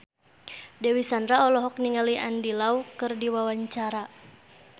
Dewi Sandra olohok ningali Andy Lau keur diwawancara